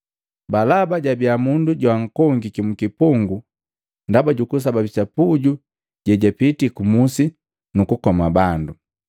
Balaba jabia mundu joankongiki mkipungu ndaba jukusababisa puju jejapiti kumusi nukukoma bandu.